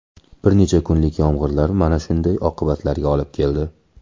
Bir necha kunlik yomg‘irlar mana shunday oqibatlarga olib keldi.